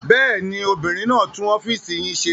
Bẹ́ẹ̀ ni, obìnrin náà tún ọ́fíísì yín ṣe.